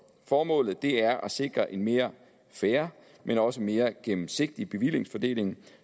formålet er at sikre en mere fair men også mere gennemsigtig bevillingsfordeling